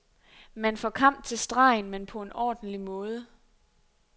Man får kamp til stregen, men på en ordentlig måde.